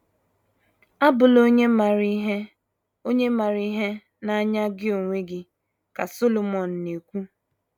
“ Abụla onye maara ihe onye maara ihe n’anya gị onwe gị, ” ka Solomọn na - ekwu.